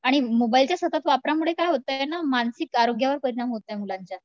आणि मोबाईलचा सतत वापरामुळे काय होतंय आपल्याला मानसिक आरोग्यावर परिणाम होतोय मुलांच्या